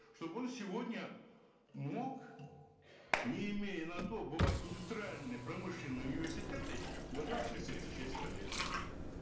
чтобы он сегодня мог не имея на то бывает индустриальные промышленные университеты готовят специалистов сельского хозяйства